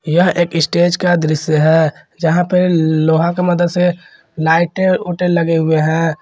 यह एक स्टेज का दृश्य है जहां पे लोहा की मदद लाइटे वाईटे लगे हुए हैं।